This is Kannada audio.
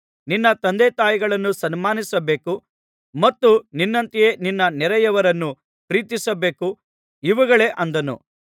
ನಿನ್ನ ತಂದೆತಾಯಿಗಳನ್ನು ಸನ್ಮಾನಿಸಬೇಕು ಮತ್ತು ನಿನ್ನಂತೆಯೇ ನಿನ್ನ ನೆರೆಯವನನ್ನು ಪ್ರೀತಿಸಬೇಕು ಇವುಗಳೇ ಅಂದನು